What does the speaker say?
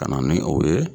Ka na ni o ye